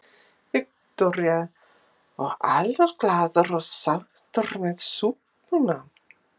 Viktoría: Og allir glaðir og sáttir með súpuna?